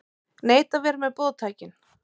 Neita að vera með boðtækin